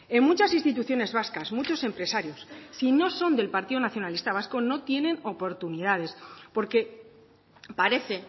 en muchas instituciones vascas muchos empresarios si no son del partido nacionalista vasco no tienen oportunidades porque parece